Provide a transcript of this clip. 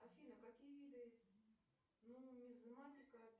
афина какие виды нумизматика